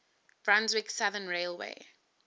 brunswick southern railway